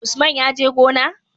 Usman ya je gona?